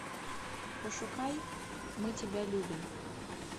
пошукай мы тебя любим